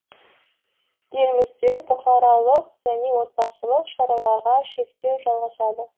елімізде бұқаралық және отбасылық шараларға шектеу жалғасады